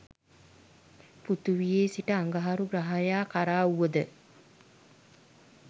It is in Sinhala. පෘථිවියේ සිට අඟහරු ග්‍රහයා කරා වුවද